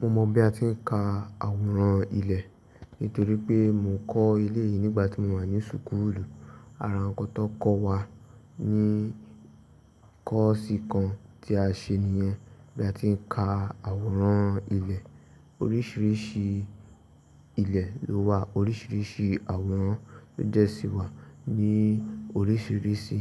Mo mọ̀ bí a ti ń ka àwòrán ilẹ̀ nítorí pé mo kọ́ ilé yìí nígbà tí mo wà ní súkúlù. Ara àwọn tó kọ́ wa ní kọ́ọ̀sì kan tí a ṣe nìyẹn. Bí a ti ń ka àwòrán ilẹ̀, oríṣiríṣi ilẹ̀ ló wà, oríṣiríṣi àwòrán ló jẹ́ sí wà ní oríṣiríṣi